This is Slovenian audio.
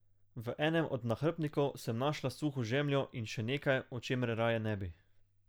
V enem od nahrbtnikov sem našla suho žemljo in še nekaj, o čemer raje ne bi.